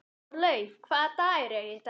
Þorlaug, hvaða dagur er í dag?